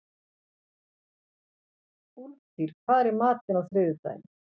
Úlftýr, hvað er í matinn á þriðjudaginn?